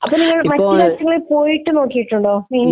അപ്പോൾ മറ്റു രാജ്യങ്ങളിൽ പോയിട്ട് നോക്കിയിട്ടുണ്ടോ?